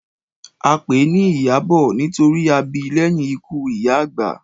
A pèé ni Ìyábọ̀ nítorí a bi lẹ́yìn ikú ìyá àgbà.